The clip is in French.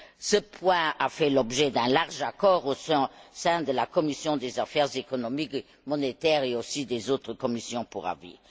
Ce point a fait l'objet d'un large accord au sein de la commission des affaires économiques et monétaires, ainsi que des autres commissions pour avis.